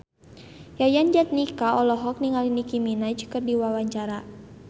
Yayan Jatnika olohok ningali Nicky Minaj keur diwawancara